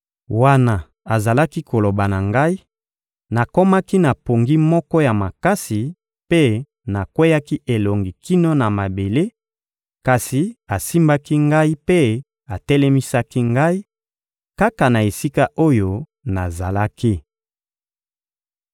Wana azalaki koloba na ngai, nakomaki na pongi moko ya makasi, mpe nakweyaki elongi kino na mabele; kasi asimbaki ngai mpe atelemisaki ngai, kaka na esika oyo nazalaki.